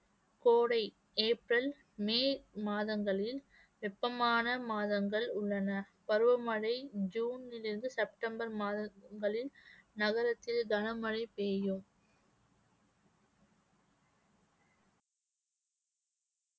கோடை April May மாதங்களில் வெப்பமான மாதங்கள் உள்ளன பருவமழை ஜூனிலிருந்து செப்டம்பர் மாதங்களில் நகரத்தில் கனமழை பெய்யும்